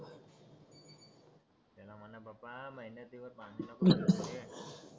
त्यांना म्हणा बाप्पा मेहनतीवर पाणी नको फिरवू रे